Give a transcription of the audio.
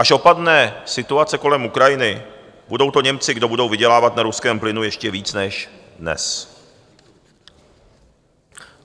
Až opadne situace kolem Ukrajiny, budou to Němci, kdo budou vydělávat na ruském plynu ještě víc než dnes.